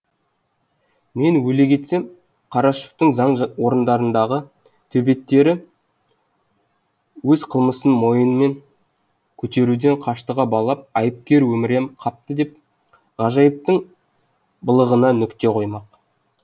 мен өле кетсем қарашаевтың заң орындарындағы төбеттері өз қылмысын мойынымен көтеруден қаштыға балап айыпкер өмірем қапты деп ғажайыптың былығына нүкте қоймақ